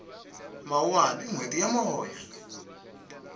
mawuwani i nhweti ya moya